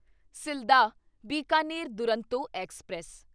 Sealdah Bikaner Duronto express